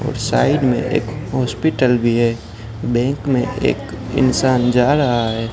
और साइड में एक हॉस्पिटल भी है बैंक में एक इंसान जा रहा है।